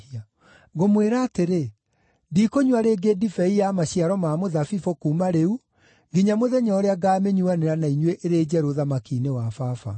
Ngũmwĩra atĩrĩ, ndikũnyua rĩngĩ ndibei ya maciaro ma mũthabibũ kuuma rĩu nginya mũthenya ũrĩa ngaamĩnyuanĩra na inyuĩ ĩrĩ njerũ ũthamaki-inĩ wa Baba.”